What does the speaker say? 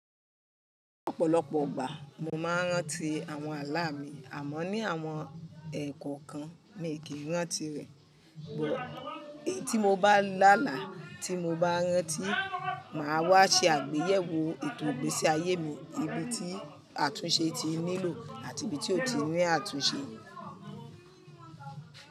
Ọ̀pọ̀lọpọ̀ ọgbà mo máa ń rántí àwọn ààlà mi àmọ́ ní àwọn ẹ̀e kọ́ kan mi kì í rántí rẹ̀. Bùt èyí tí mo bá lá àlá tí mo bá rántí, màá wá ṣe àgbéyẹ̀wò ètò ìgbésí ayé mi ibi tí àtúnṣe ti nílò àti ibi tí ó ti ní àtúnṣe.